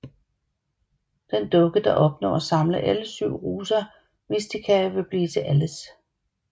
Den dukke der opnår at samle alle syv Rosa Mysticae vil blive til Alice